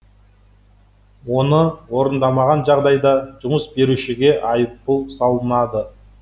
оны орындамаған жағдайда жұмыс берушіге айыппұл салынады